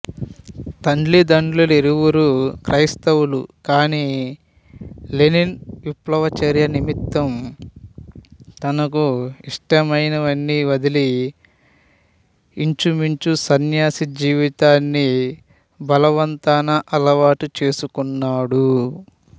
తల్లిదండ్రులిరువురూ క్రైస్తవులు కాని లెనిన్ విప్లవచర్య నిమిత్తం తనకు యిష్టమైనవన్నీ వదలి యించుమించు సన్యాసి జీవితాన్ని బలవంతాన అలవాటు చేసుకున్నాడు